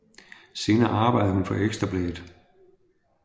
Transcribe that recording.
Senere arbejdede hun for Ekstra Bladet